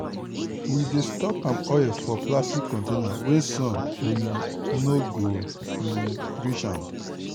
we dey store palm oil for plastic container wey sun um no go um reach am.